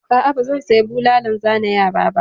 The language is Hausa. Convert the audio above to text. A'a, ba zan saya bulalan zane yara ba.